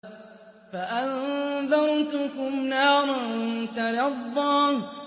فَأَنذَرْتُكُمْ نَارًا تَلَظَّىٰ